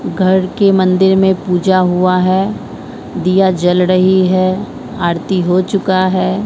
घर के मंदिर में पूजा हुआ है दिया जल रही है आरती हो चुका है।